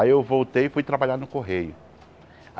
Aí eu voltei e fui trabalhar no Correio.